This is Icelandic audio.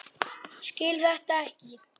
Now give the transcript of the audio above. Skil þetta ekki.